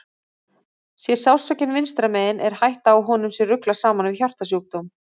Sé sársaukinn vinstra megin er hætta á að honum sé ruglað saman við hjartasjúkdóm.